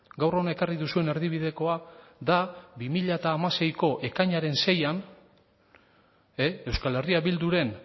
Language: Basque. gaur hona ekarri duzuen erdibidekoa da bi mila hamaseiko ekainaren seian euskal herria bilduren